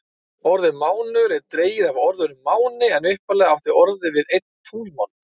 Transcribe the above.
Orðið mánuður er dregið af orðinu máni en upphaflega átti orðið við einn tunglmánuð.